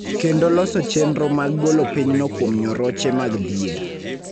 kendo loso chenro mag golo pinyno kuom nyoroche mag dhier.